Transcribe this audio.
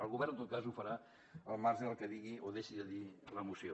el govern en tot cas ho farà al marge del que digui o deixi de dir la moció